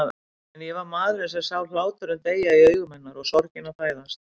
En ég var maðurinn sem sá hláturinn deyja í augum hennar og sorgina fæðast.